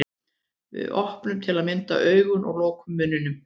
Við opnum til að mynda augun og lokum munninum.